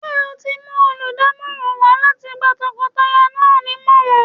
Ṣé o ti mú olùdámọ̀ràn wá láti gba tọkọtaya náà nímọ̀ràn?